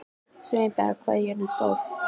Sveinberg, hvað er jörðin stór?